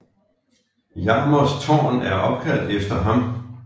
Jarmers Tårn er opkaldt efter ham